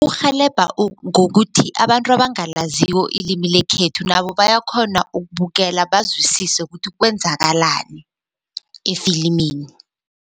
Kurhelebha ngokuthi abantu abangalaziko ilimi lekhethu nabo bayakghona ukubukela bazwisise ukuthi kwenzakalani efilimini.